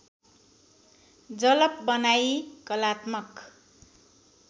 जलप बनाई कलात्मक